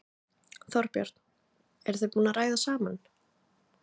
Þorbjörn: Eruð þið búin að ræða saman?